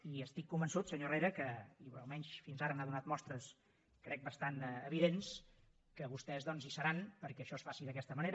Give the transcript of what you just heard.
i estic convençut senyor herrera almenys fins ara n’ha donat mostres crec bastant evidents que vostès hi seran perquè això es faci d’aquesta manera